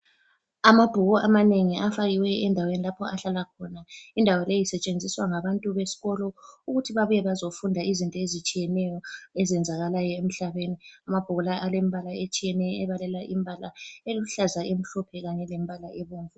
Amabhuku amanengi afakiwe endaweni lapho ahlala khona ,indawo leyi isetshenziswa ngabantu besikolo ukuthi babuye bazofunda izinto ezitshiyeneyo ezenzakala emhlabeni ,amabhuku la alembala etshiyeneyo ebalela imbala eluhlaza ,emhlophe Kanye lembala ebomvu